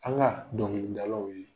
An ka dɔnkilidalaw ye